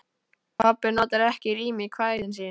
Pabbi notar ekki rím í kvæðin sín.